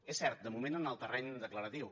és cert de moment en el terreny declaratiu